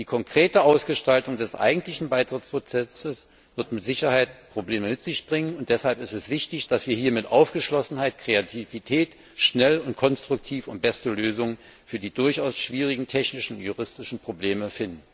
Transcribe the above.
Die konkrete Ausgestaltung des eigentlichen Beitrittsprozesses wird mit Sicherheit Probleme mit sich bringen, und deshalb ist es wichtig, dass wir hier mit Aufgeschlossenheit und Kreativität schnell und konstruktiv die besten Lösungen für die durchaus schwierigen technischen und juristischen Probleme finden.